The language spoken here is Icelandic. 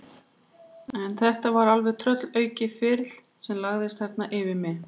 En þetta var alveg tröllaukið ferlíki sem lagðist þarna yfir mig.